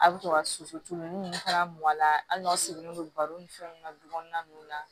A bɛ to ka soso tulon ni fana mɔn a la hali n'a seginnen don baro ni fɛnw na du kɔnɔna ninnu na